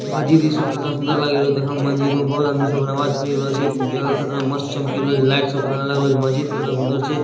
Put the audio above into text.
मस्जिद कितना सुन्दर लगल छे मस्जिद में बहुत आदमी सब नमाज़ पढ़ल छे जगह कितना मस्त लाइट लगल छे मस्जिद कितना सुंदर छे।